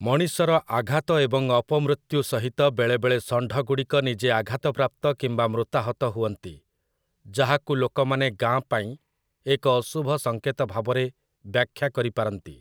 ମଣିଷର ଆଘାତ ଏବଂ ଅପମୃତ୍ୟୁ ସହିତ ବେଳେବେଳେ ଷଣ୍ଢଗୁଡ଼ିକ ନିଜେ ଆଘାତପ୍ରାପ୍ତ କିମ୍ବା ମୃତାହତ ହୁଅନ୍ତି, ଯାହାକୁ ଲୋକମାନେ ଗାଁ ପାଇଁ ଏକ ଅଶୁଭ ସଙ୍କେତ ଭାବରେ ବ୍ୟାଖ୍ୟା କରିପାରନ୍ତି ।